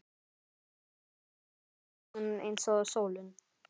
Við verðum eins og stjörnur, eins og sólin